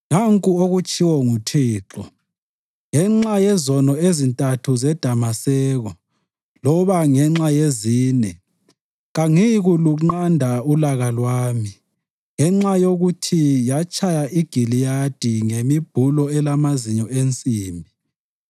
Nanku okutshiwo nguThixo: “Ngenxa yezono ezintathu zeDamaseko, loba ngenxa yezine, kangiyikulunqanda ulaka lwami. Ngenxa yokuthi yatshaya iGiliyadi ngemibhulo elamazinyo ensimbi,